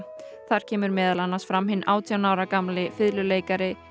þar kemur meðal annars fram hinn átján ára gamli fiðluleikari